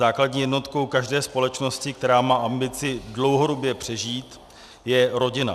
Základní jednotkou každé společnosti, která má ambici dlouhodobě přežít, je rodina.